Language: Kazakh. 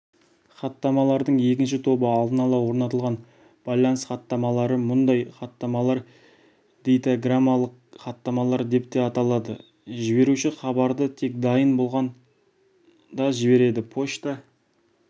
хаттамалардың екінші тобы алдын-ала орнатылған байланыс хаттамалары мұндай хаттамалар дейтаграммалық хаттамалар деп те аталады жіберуші хабарды тек дайын болғанда жібереді пошта